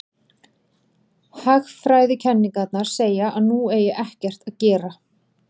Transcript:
Hagfræðikenningarnar segja að nú eigi ekkert að gera.